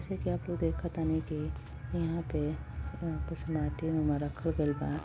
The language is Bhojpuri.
से कि आप लोग देख तानी की इहां पे माटीनुमा में रखल गइल बा।